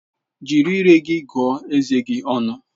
Jiri ire gị gụọ eze gi ọnụ!